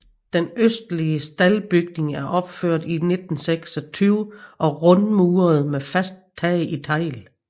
Den østlige staldbygning er opført i 1926 og rundmuret med fast tag i tegl